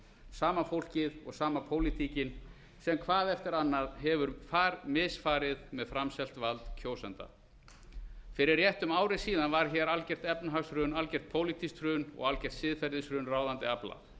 sama fólkið og sama pólitíkin sem hvað eftir annað hefur misfarið með framselt vald kjósenda fyrir rétt um ári síðan varð hér algert efnahagshrun algert pólitískt hrun og algert siðferðishrun ráðandi afla